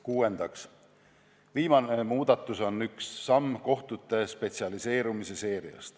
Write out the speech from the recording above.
Kuues ehk viimane muudatus on järjekordne samm kohtute spetsialiseerumise seerias.